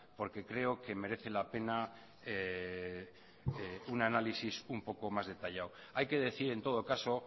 porque creo que merece la pena un análisis un poco más detallado hay que decir en todo caso